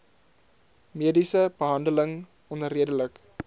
mediese behandeling onredelik